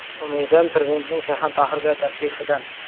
“Umidim Prezidentning Shayxontohurga tashrifidan”.